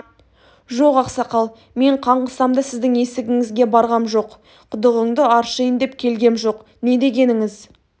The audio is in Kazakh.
жоқ ақсақал мен қаңғысам да сіздің есігіңізге барғам жоқ құдығыңды аршиын деп келгем жоқ не дегеніңіз